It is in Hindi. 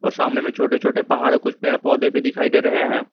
सामने में छोटे छोटे पहाड़ कुछ पेड़ पौधे भी दिखाई दे रहे हैं।